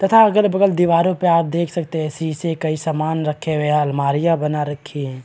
तथा अगल बगल दीवारों पे आप देख सकते हैं शीशे कई सामान रखे हुए हैंअलमारियां बना रखी है ।